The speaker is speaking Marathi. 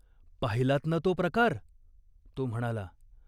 "पाहिलात ना तो प्रकार ?" तो म्हणाला.